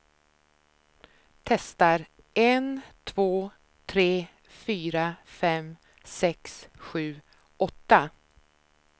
Testar en två tre fyra fem sex sju åtta.